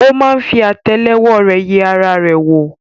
ó ma fi àtẹ́lẹwọ́ rẹ̀ yẹ ara rẹ̀ wò.